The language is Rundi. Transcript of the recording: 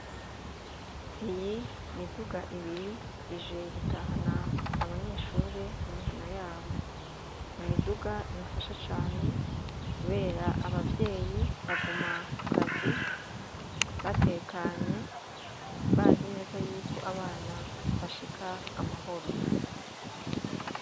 Iyi miduga ibiri ije gutahana abanyeshuri mu mihana yabo, nimiduga ibafasha cane kubera abavyeyi baguma ku kazi batekanye bazi neza yuko abana bashika amahoro.